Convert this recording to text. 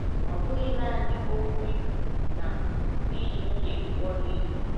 Ọ bụghị naanị okwu ikwu na i ji nwunye gị kpọrọ ihe.